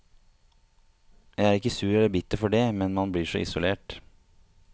Jeg er ikke sur eller bitter for det, men man blir så isolert.